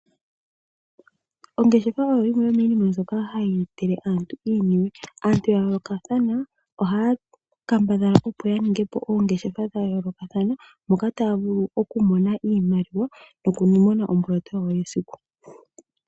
Ongeshefa oyo yimwe yo miinima mbyoka hayi etele aantu iiniwe. Aantu ya yoolokathana ohaya kambadhala opo ya ninge po oongeshefa dha yoolokathana moka taya vulu oku mona iimaliwa no kumona omboloto yawo yesiku.